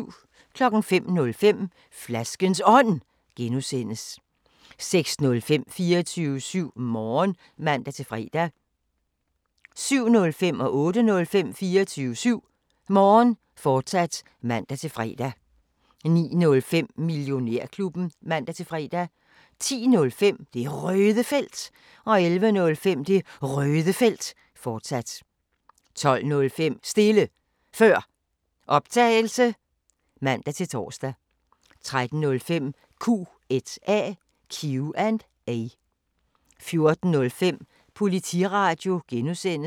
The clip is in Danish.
05:05: Flaskens Ånd (G) 06:05: 24syv Morgen (man-fre) 07:05: 24syv Morgen, fortsat (man-fre) 08:05: 24syv Morgen, fortsat (man-fre) 09:05: Millionærklubben (man-fre) 10:05: Det Røde Felt 11:05: Det Røde Felt, fortsat 12:05: Stille Før Optagelse (man-tor) 13:05: Q&A 14:05: Politiradio (G)